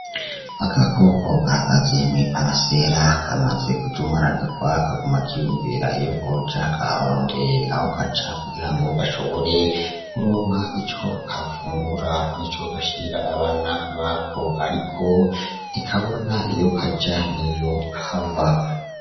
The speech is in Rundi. Agakoko gahagaze mw'iparasera kamaze kujumararirwa kaguma kiyumvira iyo kaja kugirango gashobore kuronka ico gafungura nico gashira abana bako ariko ntikabona iyo kaja n'iyokava.